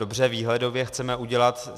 Dobře, výhledově chceme udělat...